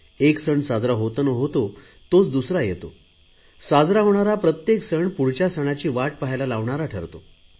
एक सण साजरा होतो न होतो तोच दुसरा येतो साजरा होणारा प्रत्येक सण पुढच्या सणाची वाट पाहायला लावणारा ठरतो